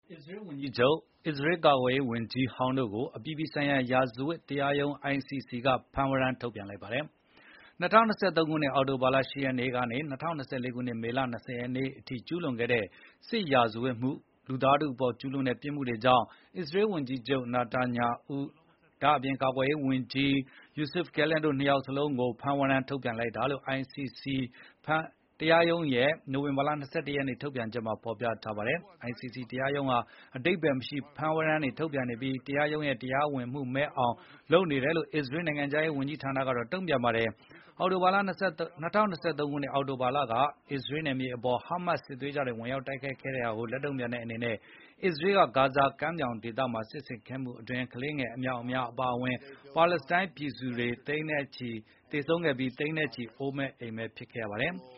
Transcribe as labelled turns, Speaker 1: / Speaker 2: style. Speaker 1: အစ္စရေးဝန်က
Speaker 2: ြီးချုပ်နဲ့အစ္စရေးကာကွယ်ရေးဝန်ကြီးဟောင်းတို့ကို အပြည်ပြည်ဆိုင်ရာ ရာဇဝတ်တရားရုံး ICC က ဖမ်းဝရမ်း ထုတ်ပြန်လိုက်ပါတယ်။ ၂၀၂၃ အောက်တိုဘာ ၈ ရက်ကနေ ၂၀၂၄ မေလ ၂၀ ရက်နေ့အထိ ကျူးလွန်ခဲ့တဲ့ စစ်ရာဇဝတ်မှု၊ လူသားထုအပေါ်ကျူးလွန်တဲ့ ပြစ်မှုတွေကြောင့် အစ္စရေးဝန်ကြီးချုပ် Benjamin Netanyahu၊ အရင်ကာကွယ်ရေးဝန်ကြီး Yoav Gallant တို့ ၂ယောက်ကို ဖမ်းဝရမ်းထုတ်ပြန်တယ်လို့ ICC တရားရုံးရဲ့ ဒီနေ့ နိုဝင်ဘာ ၂၁ ရက် ထုတ်ပြန်ချက်မှာ ဖော်ပြထားပါတယ်။ICC တရားရုံးဟာ အဓိပ္ပါယ်မရှိ ဖမ်းဝရမ်းတွေထုတ်ပြန်ပြီး တရားရုံးရဲ့ တရားဝင်မှုမဲ့အောင်လုပ်နေတယ်လို့ အစ္စရေးနိုင်ငံခြားရေးဌာနက တုံ့ပြန်ပါတယ်။ ၂၀၂၃ အောက်တိုဘာလက အစ္စရေးနယ်မြေတွေအပေါ် Hamas စစ်သွေးကြွတွေ ဝင်ရောက်တိုက်ခိုက် ခဲ့တာကိုလက်တုံ့ပြန်တဲ့အနေနဲ့ အစ္စရေးက ဂါဇာကမ်းမြောင်ဒေသအပေါ် စစ်ဆင်ခဲ့မှုအတွင်း ကလေးငယ်အမြောက်အများအပါအဝင် ပါလက်စတိုင်းပြည်သူတွေ သေဆုံးခဲ့ပြီး သိန်းနဲ့ချီ အိုးအိမ်မဲ့ ဒုက္ခသည်တွေဖြစ်ခဲ့ကြပါတယ်။